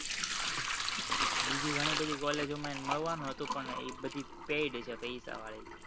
બિજી ઘણી બધી college માં એને મળવાનું હતું પણ અ બધી paid છે પૈસા વાળી